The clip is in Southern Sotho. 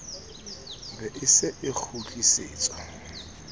be e se e kgutlisetswa